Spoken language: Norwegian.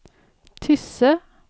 Tysse